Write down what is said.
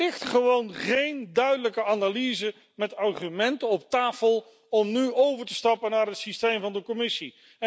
Er ligt gewoon geen duidelijke analyse met argumenten op tafel om nu over te stappen op een systeem van de Commissie.